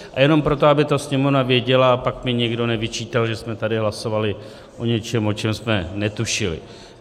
A jenom proto, aby to Sněmovna věděla a pak mi nikdo nevyčítal, že jsme tady hlasovali o něčem, o čem jsme netušili.